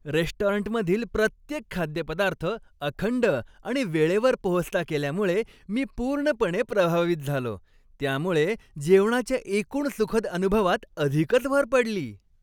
रेस्टॉरंटमधील प्रत्येक खाद्यपदार्थ अखंड आणि वेळेवर पोहोचता केल्यामुळे मी पूर्णपणे प्रभावित झालो, त्यामुळे जेवणाच्या एकूण सुखद अनुभवात अधिकच भर पडली.